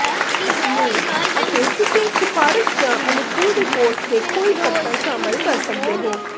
ਮੇ ਅਤੇ ਕਿਸੇ ਸਿਫਾਰਸ਼ ਜਾਂ ਅਨੁਕੂਲ ਰਿਪੋਰਟ ਦੇ ਕੋਈ ਪੱਤਰ ਸ਼ਾਮਲ ਕਰ ਸਕਦੇ ਹੋ